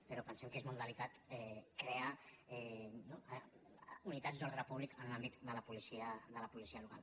però pensem que és molt delicat crear unitats d’ordre públic en l’àmbit de la policia local